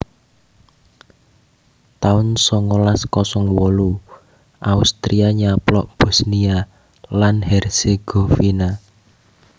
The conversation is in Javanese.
taun songolas kosong wolu Austria nyaplok Bosnia lan Herzegovina